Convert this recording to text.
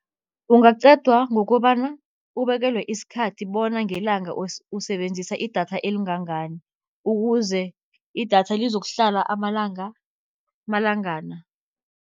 Kungacedwa ngokobana ubekelwe isikhathi bona ngelanga usebenzisa idatha elingangani, ukuze idatha lizokuhlala amalangana.